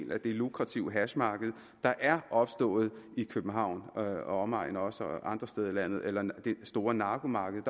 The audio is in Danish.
lukrative hashmarked der er opstået i københavn og omegn og også andre steder i landet eller det store narkomarked